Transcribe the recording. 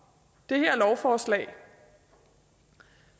det her lovforslag